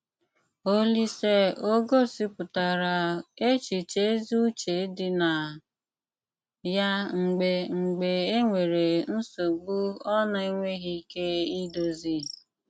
Òlíse o gósípụtárá échichè ézí ùché dí ná yá mgbè mgbè énwéré nsògbu ọ́ ná-énweghị íké ídòzí?